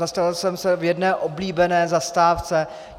Zastavil jsem se v jedné oblíbené zastávce.